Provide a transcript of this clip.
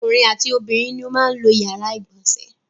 Ọkùnrin àti obìnrin ni ó máa ń lo ìyàrá-ìgbọ̀nsẹ̀.